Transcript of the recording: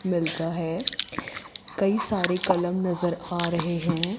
मिलता है कई सारे कलम नजर आ रहे हैं।